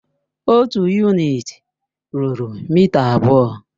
Otu yunịti rúrú mịta abụọ.